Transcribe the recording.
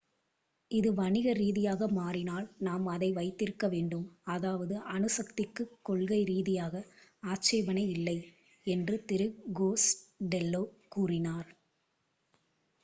"""இது வணிக ரீதியாக மாறினால் நாம் அதை வைத்திருக்க வேண்டும். அதாவது அணுசக்திக்குக் கொள்கை ரீதியாக ஆட்சேபனை இல்லை "என்று திரு கோஸ்டெல்லோ கூறினார்.